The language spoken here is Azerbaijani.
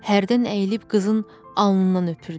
Hərdən əyilib qızın alnından öpürdü.